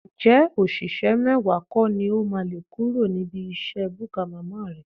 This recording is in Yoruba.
Ǹjẹ́ òṣìṣẹ́ mẹ́wàá kọ́ ni o máa lé kúrò níbi iṣẹ́ búkà màmá rẹ?